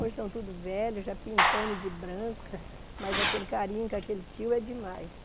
Hoje estão tudo velhos, já pintando de branco, mas aquele carinho com aquele tio é demais.